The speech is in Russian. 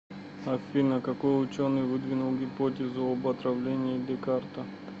афина какой ученый выдвинул гипотезу об отравлении декарта